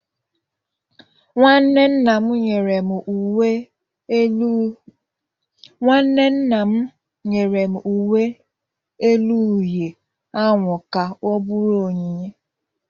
Nwanne nna m nyere m uwe elu uhie ahụ ka ọ bụrụ onyinye